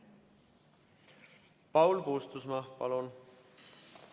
Paul Puustusmaa, palun!